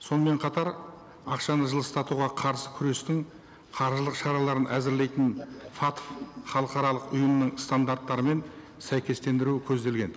сонымен қатар ақшаны жылыстатуға қарсы күрестің қаржылық шараларын әзірлейтін фатф халықаралық ұйымының стандарттарымен сәйкестендіру көзделген